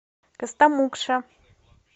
костомукша